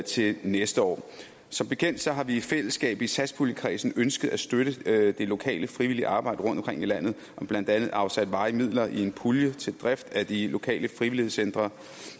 til næste år som bekendt har vi i fællesskab i satspuljekredsen ønsket at støtte det lokale frivillige arbejde rundtomkring i landet og blandt andet afsat varige midler i en pulje til drift af de lokale frivilligcentre